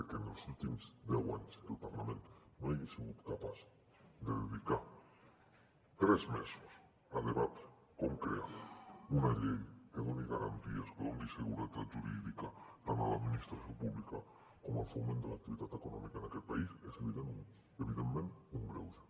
que en els últims deu anys el parlament no ha sigut capaç de dedicar tres mesos a debatre com crear una llei que doni garanties que doni seguretat jurídica tant a l’administració pública com al foment de l’activitat econòmica en aquest país és evidentment un greuge